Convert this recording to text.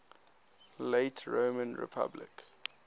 late roman republic